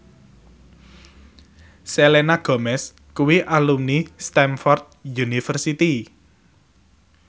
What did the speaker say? Selena Gomez kuwi alumni Stamford University